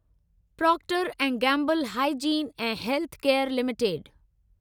Procter ऐं Gamble hygiene ऐं health care limited